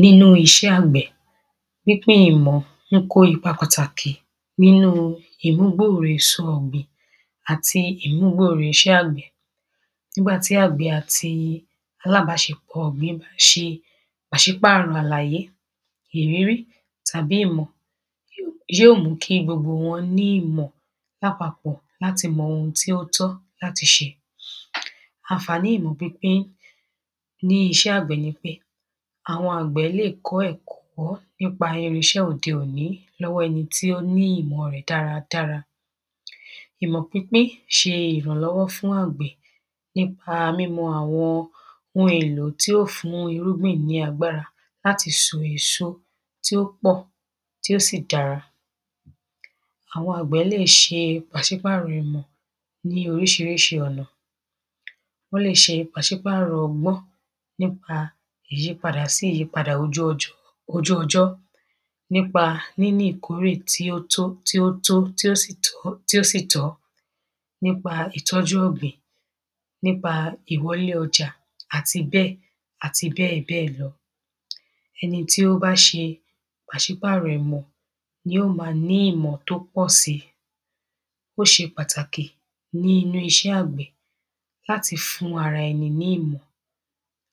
Nínú is̩é̩ àgbè̩, pínpín ìmò̩ ń kó ipa pàtàkì nínú ìmúgbòòrò èso ò̩gbìn àti ìmúgbòòrò is̩é̩ àgbè̩. Nígbà tí àgbè̩ àti alábás̩epò̩ ò̩gbìn bá s̩e pàsípàrò̩ àláyé, ìrírí, tàbí ìmò̩, yó mú kí gbogbo wo̩n ní ìmò̩ lápapò̩ láti mo̩ ohun tí ó tó̩ káti s̩e. Àǹfàní ìmò̩ pínpín ní is̩é̩ àgbè̩ ni pé àwo̩n àgbè̩ lè kó̩ è̩kó̩ nípa irins̩é̩ òde òní ló̩wó̩ e̩ni ó ní ìmò̩ rè̩ dáradára Ìmọ̀ pínpín ṣe ìrànlọ́wọ́ fún àgbẹ̀ nípa mímo̩ àwọn ohun èlò tí ófún irúgbìn ní agbára láti só èso tí ó pọ̀ tí ó sì dára. Àwo̩n àgbẹ̀ lè ṣe pàsípàrọ̀ ìmọ̀ ní oríṣiríṣi ọ̀nà. Wó̩n lè s̩e pàiśpàrọ̀ ọgbọ́ nípa ìyípadà sí ìyípadà ojú ọj ojú ọjọ́. Nípa níní ìkórè tí ó tó tí ó tó tí ó sì tọ́ tí ó sì tọ́ Nípa ìtọ́jú ọ̀gbìn. Nípa ìwọlé ọjà àti bẹ́ẹ̀ bẹ́ẹ̀ lọ. Ẹni tí ó bá ṣe pàsípàrọ̀ ìmọ̀, yó ma ní ìmọ̀ tó pọ̀ si. Ó ṣe pàtàkì ní inú iṣẹ́ àgbẹ̀ láti fún ara ẹni ní ìmọ̀